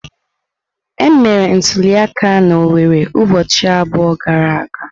Emere ntuliaka na Owerre ụbọchị abụọ gara aga?